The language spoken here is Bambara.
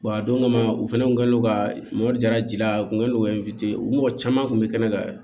a don kama u fana kun g'o ka mobili dira ji la u kun kɛlen don ka u mɔgɔ caman kun bɛ kɛnɛ kan